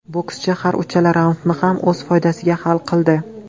Bokschi har uchala raundni ham o‘z foydasiga hal qildi.